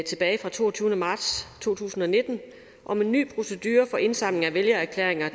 tilbage fra toogtyvende marts to tusind og nitten om en ny procedure for indsamling af vælgererklæringer